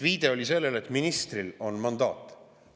Viide oli sellele, et ministril on mandaat.